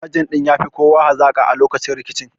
Sajan ɗin ya fi kowa hazaƙa a lokacin rikicin